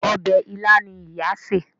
Obè ila ní ìyá ṣe.